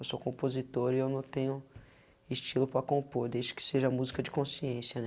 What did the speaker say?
Eu sou compositor e eu não tenho estilo para compor, desde que seja a música de consciência, né.